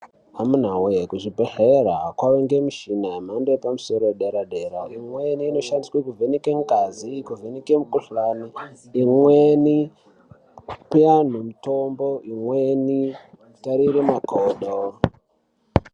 Amuna wee kuzvibhehlera kwavangemishina yemhando yepamusoro yedera-dera imweni inoshandiswa kuvheneke ngazi kuvheneke mikhuhlani imweni kuyanhu mutombo imweni kutarire makodo.